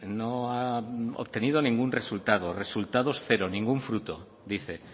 no ha obtenido ningún resultado resultados cero ningún fruto dice